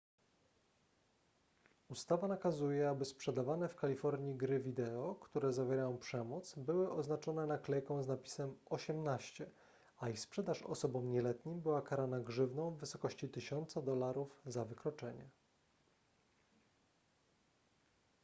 ustawa nakazuje aby sprzedawane w kalifornii gry wideo które zawierają przemoc były oznaczone naklejką z napisem 18 a ich sprzedaż osobom nieletnim była karana grzywną w wysokości 1000 dolarów za wykroczenie